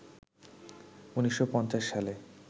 ১৯৫০ সালে